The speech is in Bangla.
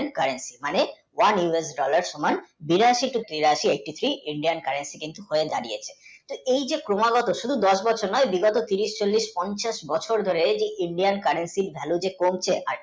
Indian, currency মানে oneUSdollar সমান বিরাশী তিরাশি indian, currency হয়ে দাড়িয়েছে এই যে ক্রমাগত শুধু দশ বছর নয় বিগত বিশ তিরিশ পঞ্চাশ বছর ধরে এই যে indian, currency এর value যে কমছে